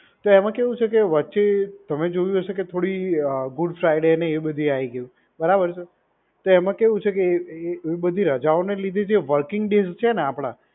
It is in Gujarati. તો એમ કેવું છે કે વચ્ચે તમે જોયું હશે કે થોડી ગુડ ફ્રાઇડે ને એવું બધું આવી ગયું, બરાબર છે? તો એમાં કેવું છે કે એ બધી રજાઓ ના લીધે જે વર્કિંગ ડેસ છે નેએ આપડા,